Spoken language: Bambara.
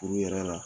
Furu yɛrɛ la